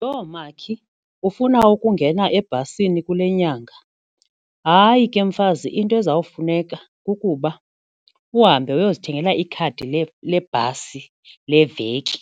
Yho! Makhi ufuna ukungena ebhasini kule nyanga. Hayi, ke mfazi into ezawufuneka kukuba uhambe uyozithengela ikhadi lebhasi leveki